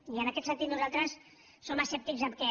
i en aquest sentit nosaltres som escèptics que